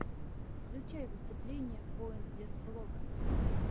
включай выступления поинтлесс блога